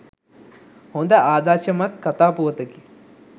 හොඳ ආදර්ශමත් කතා පුවතකි.